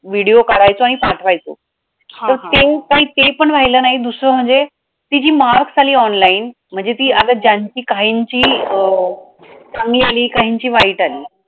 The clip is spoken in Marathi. video काढायचो आणि पाठवायचो तर ते ते पण राहील नाही दुसरं म्हणजे ती जी marks आली online म्हणजे ती ज्यांची कायमची अं चांगली आणि काहींची वाईट आली.